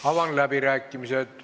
Avan läbirääkimised.